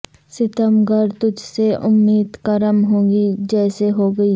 ستم گر تجھ سے امید کرم ہوگی جسے ہوگی